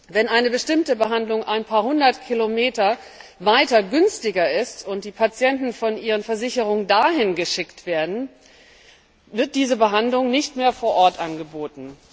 Wenn eine bestimmte Behandlung ein paar hundert Kilometer weiter günstiger ist und die Patienten von ihren Versicherungen dorthin geschickt werden, wird diese Behandlung nicht mehr vor Ort angeboten.